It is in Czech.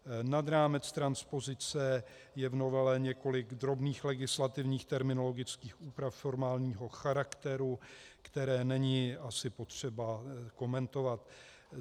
Nad rámec transpozice je v novele několik drobných legislativních terminologických úprav formálního charakteru, které není asi potřeba komentovat.